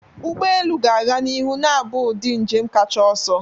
Ụgbọ elu ga-aga n'ihu na-abụ ụdị njem kacha ọsọ.